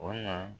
O na